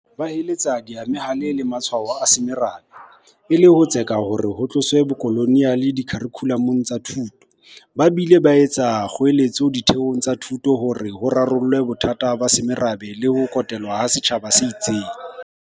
Ba heletsa diemahale le matshwao a semorabe, e le ho tseka hore ho tloswe bokoloniale dikharikhulamong tsa thuto, ba bile ba etsa kgoeletso ditheong tsa thuto hore di rarolle bothata ba semorabe le ho kotelwa ha setjhaba se itseng.